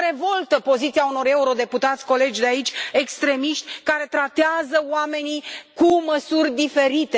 Mă revoltă poziția unor eurodeputați, colegi de aici, extremiști, care tratează oamenii cu măsuri diferite.